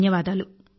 ధన్యవాదాలు